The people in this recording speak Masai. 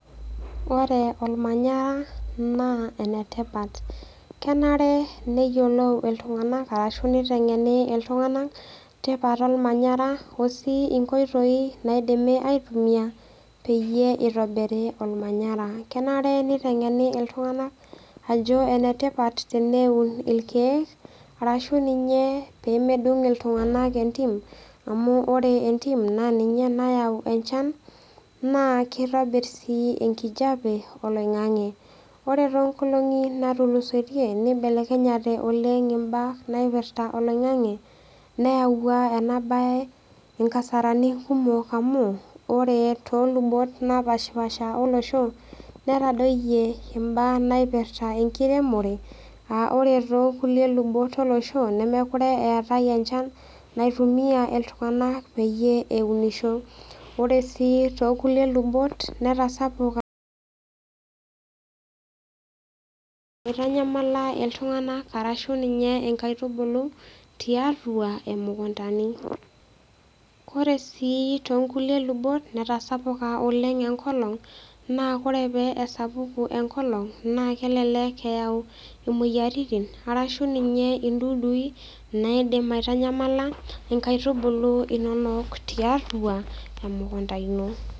Ore olmanyara naa enetipat. Kenare neyiolou iltung'anak arashu neiteng'eni iltung'anak tipat olmanyara o sii inkoitoi naaidimi aitumia peyie eitobiri olmanyara. Kenare neiteng'eni iltung'anak ajo enetipat teneun ilkeek arashu ninyee pee medung' iltung'anak entim amu ore entim naa ninye nayau enchan naa keitobirr sii enkijape oloing'ang'e. Ore toonkolong'i natulusoitie neibelekenyate oleng' imbaa naipirta oloing'ang'e neayua ena baye inkasarani kumok amu ore toolubot napashpaasha olosho netadoyio imbaa naipirta enkiremore aa ore too kulie lubot olosho nemekure eatai enchan naitumia iltung'anak peyie eunisho. Ore sii tookulie lubot netasapuka eitanyamala iltung'anak arashu ninye inkaitubulu tiatua imukuntani. Kore sii toonkulie lubot netasapuka oleng' enkolong' naa ore pee esapuku enkolong' naa kelelek eyau imoyaritin arashu ninye indudui naaidim aitanyamala inkaitubulu inonok tiatua emukunta ino.